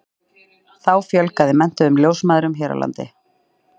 þá fjölgaði menntuðum ljósmæðrum hér á landi